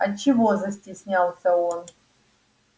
а чего застеснялся он